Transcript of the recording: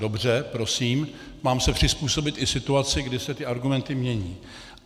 Dobře, prosím, mám se přizpůsobit i situaci, kdy se ty argumenty mění.